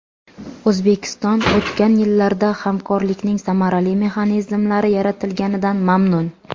O‘zbekiston o‘tgan yillarda hamkorlikning samarali mexanizmlari yaratilganidan mamnun.